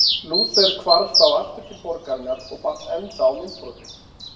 Lúther hvarf þá aftur til borgarinnar og batt enda á myndbrotið.